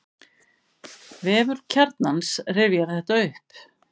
Vefur Kjarnans rifjar þetta upp.